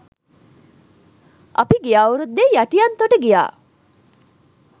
අපි ගිය අවුරුද්දේ යටියන්තොට ගියා